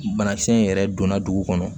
Banakisɛ in yɛrɛ donna dugu kɔnɔ